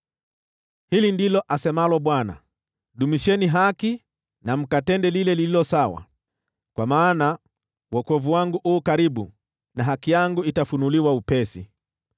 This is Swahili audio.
Hili ndilo asemalo Bwana : “Dumisheni haki na mkatende lile lililo sawa, kwa maana wokovu wangu u karibu na haki yangu itafunuliwa upesi.